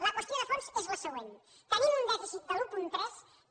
la qüestió de fons és la següent tenim un dèficit de l’un coma tres que